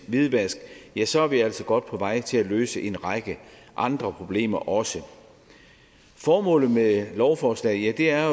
hvidvask ja så er vi altså godt på vej til at løse en række andre problemer også formålet med lovforslaget er